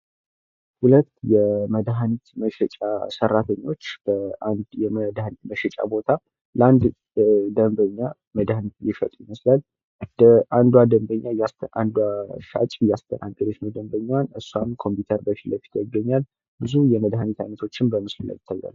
ሁለት የመድሃኒት መሸጫ ሰራቶኞች በአንድ የመድሃኒት መሸጫ ቦታ ለአንድ ደንበኛ መድሃኒት እየሸጡ ይመስላል። እንዷን ደንበኛ አንዱ ሻጭ እያስተናገደቻት ደንበኛዋን እሱም ኮምፕዩተር ፊት ለፊቷ ይገኛል። ብዙ የመድሃኒት አይነቶችም በምስሉ ላይ ይገኛሉ።